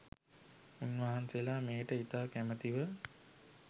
උන්වහන්සේලා මෙයට ඉතා කමැති ව